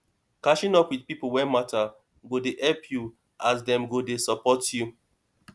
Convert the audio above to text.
catching up with people wey matter go dey help you as dem go dey support you